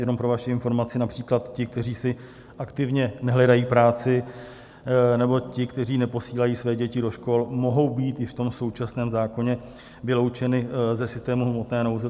Jenom pro vaši informaci například ti, kteří si aktivně nehledají práci, nebo ti, kteří neposílají své děti do škol, mohou být i v tom současném zákoně vyloučeni ze systému hmotné nouze.